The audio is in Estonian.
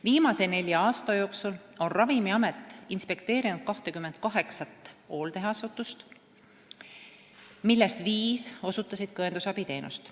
Viimase nelja aasta jooksul on Ravimiamet inspekteerinud 28 hooldeasutust, millest viis osutavad ka õendusabi teenust.